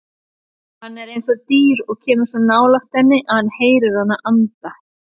Hann er eins og dýr og kemur svo nálægt henni að hann heyrir hana anda.